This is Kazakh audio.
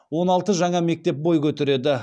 он алты жаңа мектеп бой көтереді